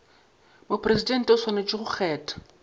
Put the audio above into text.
mopresidente o swanetše go kgetha